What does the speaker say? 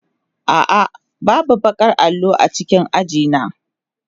A'a, babu baƙar allo a cikin aji na.